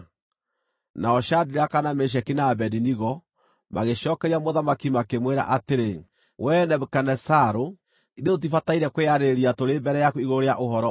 Nao Shadiraka, na Meshaki, na Abedinego magĩcookeria mũthamaki, makĩmwĩra atĩrĩ, “Wee Nebukadinezaru, ithuĩ tũtibataire kwĩyarĩrĩria tũrĩ mbere yaku igũrũ rĩa ũhoro ũyũ.